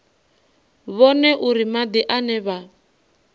vhone uri madi ane vha